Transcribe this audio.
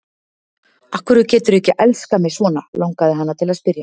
Af hverju geturðu ekki elskað mig svona, langaði hana til að spyrja.